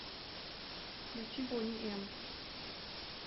включи бони эм